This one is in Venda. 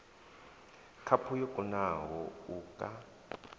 khaphu yo kunaho u ka